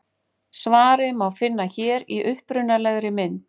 Svarið má finna hér í upprunalegri mynd.